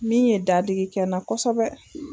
Min ye dadigi kɛ n na kosɛbɛ